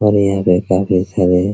और यहाँ पे काफी है |